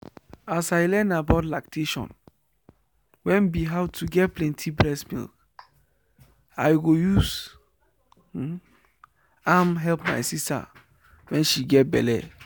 as i learn about lactation wen be how to get plenty breast milk i go use am help my sister wen she get belle